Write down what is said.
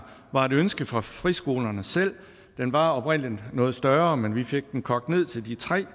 var et ønske fra friskolerne selv den var oprindelig noget større men vi fik den kogt ned til de tre